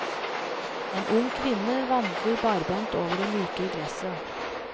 En ung kvinne vandrer barbent over det myke gresset.